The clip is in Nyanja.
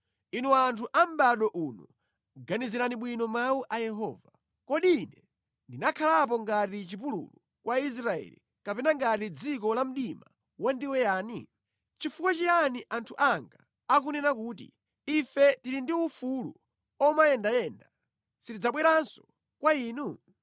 “Inu anthu a mʼbado uno, ganizirani bwino mawu a Yehova: “Kodi Ine ndinakhalapo ngati chipululu kwa Israeli kapena ngati dziko la mdima wandiweyani? Chifukwa chiyani anthu anga akunena kuti, ‘Ife tili ndi ufulu omayendayenda; sitidzabweranso kwa Inu’?